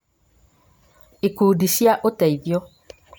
ikundi cia ũteithio: